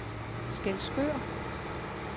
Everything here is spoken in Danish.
Skælskør